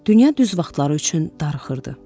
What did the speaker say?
Dünya düz vaxtları üçün darıxırdı.